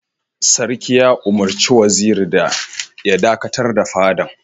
Sarki ya umurci Waziri ya dakatar da fadan!